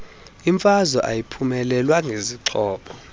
imfazwe ayiphunyelelwa ngezixhobo